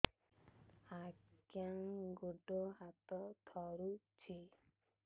ଆଜ୍ଞା ଗୋଡ଼ ହାତ ଥରୁଛି